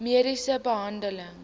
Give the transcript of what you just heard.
mediese behandeling